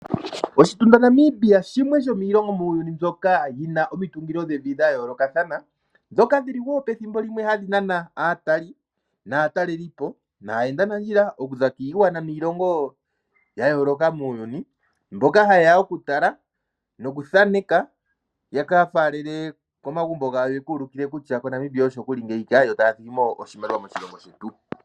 Oshitunda Namibia shimwe shomiilongo muuyuni mbyoka yina omitungilo dhevi dha yoolokathana, dhoka dhili wo pethimbo limwe hadhi nana aatali naatalelipo, naayendanandjia okuza kiigwana niilongo ya yooloka muuyuni. Mboka haye ya okutala nokuthaneka ya ka falele komagumbo gawo, ya ka ulike kutya koNamibia osho nguli ngeyika, yo taya thigi mo oshimaliwa moshilongo shetu.